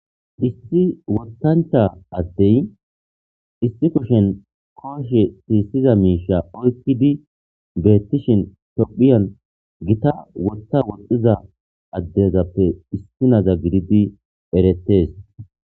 issi wottancha addey issi kushen kooshe siissiza miisha oykkidi beettishin tophiyan gita wotta woxxiza addezappe issi naza gididi erettees